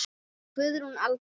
Guðrún Alda.